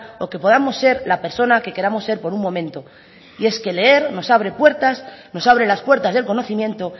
o que podamos ser la persona que queramos ser por un momento y es que leer nos abre puertas nos abre las puertas del conocimiento